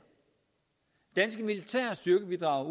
danske militære styrkebidrag